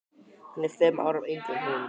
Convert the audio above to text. Hann er fimm árum yngri en hún.